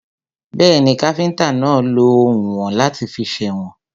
Bẹ́ẹ̀ni, káfíntà náà lọ oùnwọ̀n láti fi sèwọ̀n.